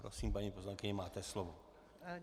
Prosím, paní poslankyně, máte slovo.